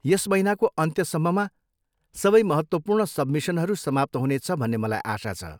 यस महिनाको अन्त्यसम्ममा सबै महत्त्वपूर्ण सब्मिसनहरू समाप्त हुनेछ भन्ने मलाई आशा छ।